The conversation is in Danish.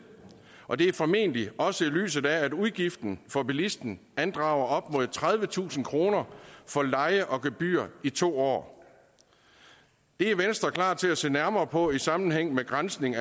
og det er formentlig også i lyset af at udgiften for bilisten andrager op mod tredivetusind kroner for leje og gebyr i to år det er venstre klar til at se nærmere på i sammenhæng med granskning